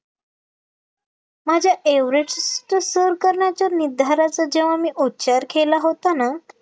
माझं एव्हरेस्टचं सर करण्याचा निर्धाराचा जेव्हा मी उच्चार केला होता ना